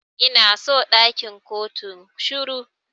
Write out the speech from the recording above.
Ina so ɗakin kotun shiru.